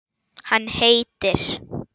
Hann heitir